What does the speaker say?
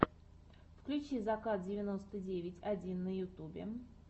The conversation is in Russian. включи закат девяносто девять один на ютюбе